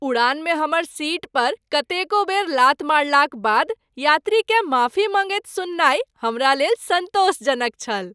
उड़ानमे हमर सीट पर कतेको बेर लात मारलाक बाद यात्रीकेँ माफी माँगैत सुननाय हमरा लेल सन्तोषजनक छल।